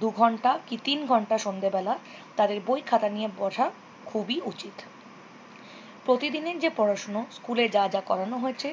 দু ঘণ্টা কি তিন ঘণ্টা সন্ধ্যে বেলা তাদের বই খাটা নিয়ে বসা খুবই উচিত। প্রতিদিনের যে পড়াশুনো স্কুলে যা যা পড়ানো হয়েছে